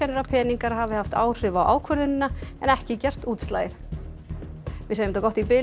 að peningar hafi haft áhrif á ákvörðunina en ekki gert útslagið við segjum þetta gott í bili